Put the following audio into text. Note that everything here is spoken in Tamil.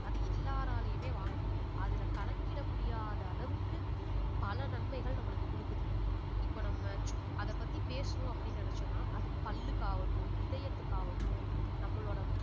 அது எல்லாராலையுமே வாங்க முடியும் அதுல கணக்கிட முடியாத அளவுக்கு பல நன்மைகள் நம்மளுக்கு கொடுக்குது இப்ப நம்ம சும்~ அதைப் பத்தி பேசணும் அப்படின்னு நினைச்சோம்னா அது பல்லுக்காகட்டும் இதயத்துக்காகட்டும் நம்மளோட